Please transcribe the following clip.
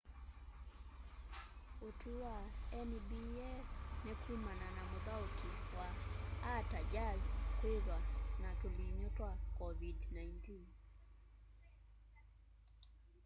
utwi wa nba ní kumana na muthauki wa utah jazz kwithwa na tulinyu twa covid-19